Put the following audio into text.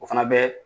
O fana bɛ